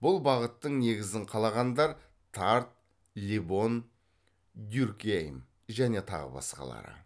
бұл бағыттың негізін қалағандар тард лебон дюркгейм және тағы басқалары